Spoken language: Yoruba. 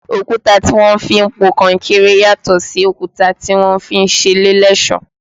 Òkúta tí wọ́n fi ń po kọnkéré yàtò sí òkúta tí wọ́n fi ń ṣe ilé lẹ́sọ̀ọ́